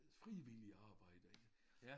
Frivilligt arbejde ik